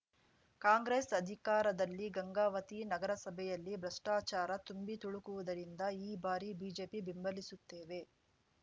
ಕಾಂಗ್ರೆಸ್‌ ಅಧಿಕಾರದಲ್ಲಿ ಗಂಗಾವತಿ ನಗರಸಭೆಯಲ್ಲಿ ಭ್ರಷ್ಟಾಚಾರ ತುಂಬಿ ತುಳುಕಿರುವುದರಿಂದ ಈ ಬಾರಿ ಬಿಜೆಪಿ ಬೆಂಬಲಿಸುತ್ತೇವೆ